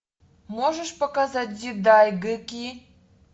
можешь показать дзидайгэки